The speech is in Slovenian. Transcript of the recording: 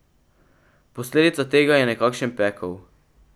Posledica tega je nekakšen pekel.